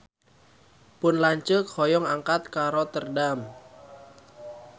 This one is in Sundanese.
Pun lanceuk hoyong angkat ka Rotterdam